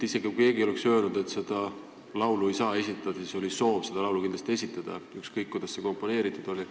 Isegi kui keegi oleks öelnud, et seda laulu ei saa esitada, oli siis soov seda laulu kindlasti esitada, ükskõik kuidas see komponeeritud oli.